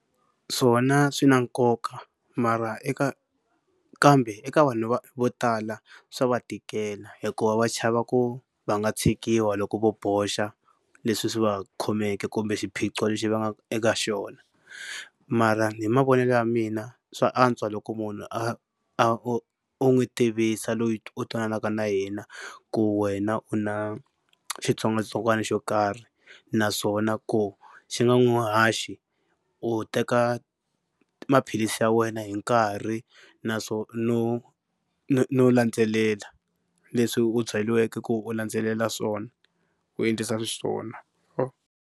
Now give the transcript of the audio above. Swona swi na nkoka mara eka kambe eka vanhu vo tala swa va tikela hikuva va chava ku va nga tshikiwa loko vo boxa leswi swi va khomeke kumbe xiphiqo lexi va nga eka xona. Mara hi mavonelo ya mina swa antswa loko munhu a u n'wi tivisa loyi u twananaka na yena ku wena u na xitsongwatsongwana xo karhi naswona ku xi nga n'wi haxi u teka maphilisi ya wena hi nkarhi no no no landzelela leswi u byeliweke ku u landzelela swona u endlisa xiswona.